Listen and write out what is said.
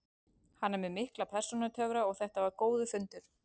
Hann er með mikla persónutöfra og þetta var góður fundur.